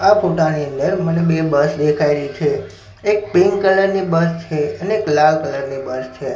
આ ફોટાની અંદર મને બે બસ દેખાઈ રહી છે એક પિન્ક કલર ની બસ છે અને એક લાલ કલર ની બસ છે.